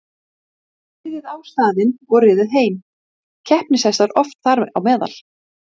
Þaðan hefur afbrigðið síðan dreifst víða um lönd og njóta þessir hundar nú mikilla vinsælda.